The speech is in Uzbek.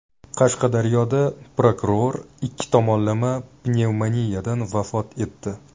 Qashqadaryoda prokuror ikki tomonlama pnevmoniyadan vafot etdi.